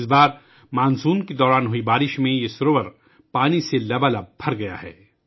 اس بار مانسون کے دوران ہونے والی بارشوں کی وجہ سے یہ جھیل پانی سے بھر گئی ہے